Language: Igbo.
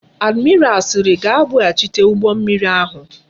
Admiral siri ga ebu ghachite ugbo mmiri ahu